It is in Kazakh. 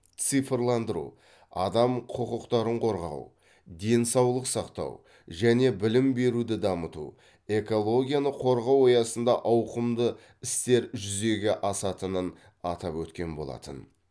цифрландыру адам құқықтарын қорғау денсаулық сақтау және білім беруді дамыту экологияны қорғау аясында ауқымды істер жүзеге асатынын атап өткен болатын